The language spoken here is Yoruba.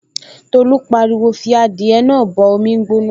Tolú pariwo, 'fi adìẹ náà bọ omi gbóná